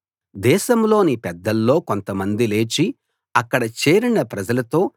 దేశంలోని పెద్దల్లో కొంతమంది లేచి అక్కడ చేరిన ప్రజలతో